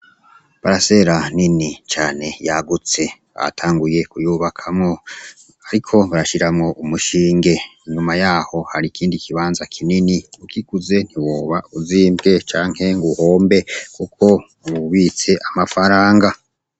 Barasela nini cane yagutse atanguye kuyubakamwo, ariko barashiramwo umushinge inyuma yaho hari ikindi ikibanza kinini ukikuze ntiwoba uzimbwe cankegu uhombe, kuko ubitse amafaranga.